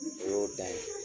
O y'o ta ye.